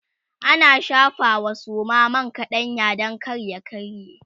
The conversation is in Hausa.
ana shafawa Suma man kaɗanya Dan kar ya karye